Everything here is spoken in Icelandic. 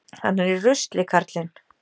Hann er í rusli, karlinn.